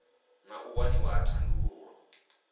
na u waniwa ha thandululo